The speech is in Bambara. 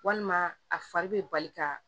Walima a fari bɛ bali ka